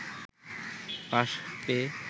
pass পেয়ে